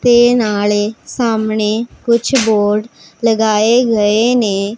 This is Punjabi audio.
ਤੇ ਨਾਲੇ ਸਾਹਮਣੇ ਕੁਝ ਬੋਰਡ ਲਗਾਏ ਗਏ ਨੇ।